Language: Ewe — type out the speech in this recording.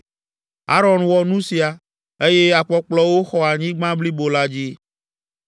Aron wɔ nu sia, eye akpɔkplɔwo xɔ anyigba blibo la dzi.